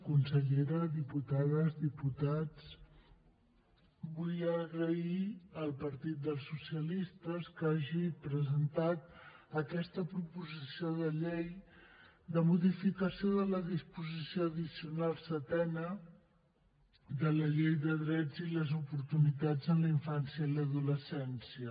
consellera diputades diputats vull agrair al partit dels socialistes que hagi presentat aquesta proposició de llei de modificació de la disposició addicional setena de la llei dels drets i les oportunitats en la infància i l’adolescència